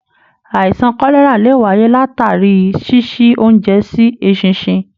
Àìsàn kọlẹra lè wáyé latari ṣiṣi oúnjẹ sí eṣinṣin.